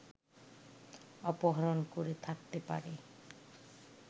অপহরণ করে থাকতে পারে